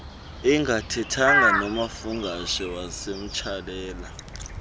engathethanga nomafungwashe wayemtsalela